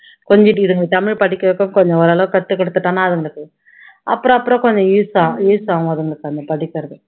கொஞ்சிட்டு இதுங்களை தமிழ் படிக்க வைப்பேன் கொஞ்சம் ஓரளவு கத்து கொடுத்துட்டோம்னா அதுங்களுக்கு அப்பறம் அப்பறம் கொஞ்சம் use ஆகும் use ஆகும் அதுங்களுக்கு அதை படிக்கிறது